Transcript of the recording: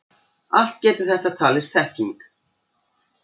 Allt getur þetta talist þekking.